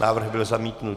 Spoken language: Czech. Návrh byl zamítnut.